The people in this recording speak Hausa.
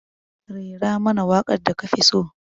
Rera mana waƙar da kafi so.